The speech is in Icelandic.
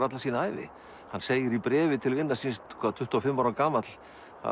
alla sína ævi hann segir í bréfi til vinar síns tuttugu og fimm ára gamall